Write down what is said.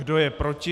Kdo je proti?